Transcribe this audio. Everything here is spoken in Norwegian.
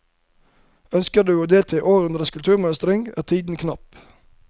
Ønsker du å delta i årets kulturmønstring er tiden knapp.